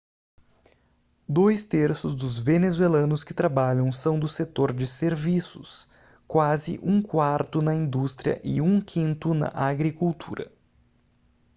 dois terços dos venezuelanos que trabalham são do setor de serviços quase um quarto na indústria e um quinto na agricultura